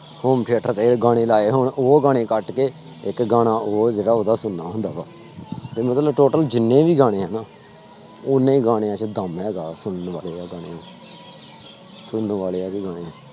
Home theater ਤੇ ਗਾਣੇ ਲਾਏ ਹੋਣ ਉਹ ਗਾਣੇ ਕੱਟ ਕੇ ਇੱਕ ਗਾਣਾ ਹੋਰ ਜਿਹੜਾ ਉਹਦਾ ਸੁਣਨਾ ਹੁੰਦਾ ਵਾ ਤੇ ਮਤਲਬ total ਜਿੰਨੇ ਵੀ ਗਾਣੇ ਹੈ ਨਾ ਓਨੇ ਗਾਣਿਆਂ ਚ ਦਮ ਹੈਗਾ ਸੁਣਨ ਵਾਲੇ ਆ ਗਾਣੇ ਸੁਣਨ ਵਾਲੇ ਹੈ ਉਹਦੇ ਗਾਣੇ।